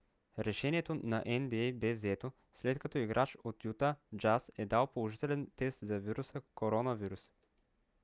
решението на нба бе взето след като играч от юта джаз е дал положителен тест за вируса covid-19